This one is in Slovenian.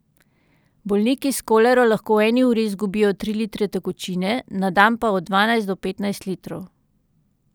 Bolniki s kolero lahko v eni uri izgubijo tri litre tekočine, na dan pa od dvanajst do petnajst litrov.